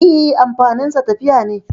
E, amfaninsa tafiya ne.